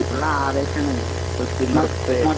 Full ആവേശമാണ്. നൃത്യ നൃത്ത